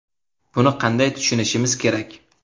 Buni qanday tushunishimiz kerak?